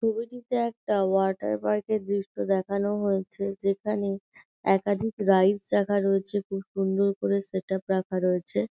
ছবিটিতে একটা ওয়াটার পার্কের দৃশ্য দেখানো হয়েছে যেখানে একাধিক রাইডস রাখা রয়েছে খুব সুন্দর করে সেট আপ রাখা রয়েছে।